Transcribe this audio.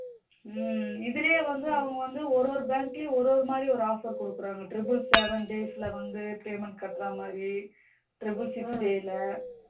உம் சேமிப்பு காசு இதிலேயே வந்து அவங்க வந்து ஒவ்வொரு bank லையும் ஒவ்வொரு மாதிரி ஒரு offer கொடுக்குறாங்க triple seven days ல வந்து payment கட்ற மாதிரி triple six day ல